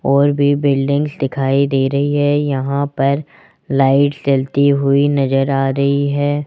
और भी बिल्डिंग दिखाई दे रही है यहां पर लाइट जलती हुई नजर आ रही है।